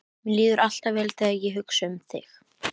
Mér líður alltaf vel þegar ég hugsa um þig.